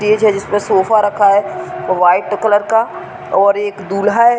Stage है। जिस पर सोफे रखा है व्हाइट कलर का और एक दूल्हा है।